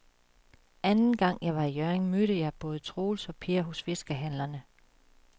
Anden gang jeg var i Hjørring, mødte jeg både Troels og Per hos fiskehandlerne.